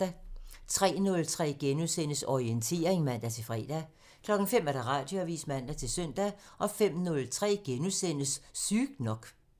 03:03: Orientering *(man-fre) 05:00: Radioavisen (man-søn) 05:03: Sygt nok *(man)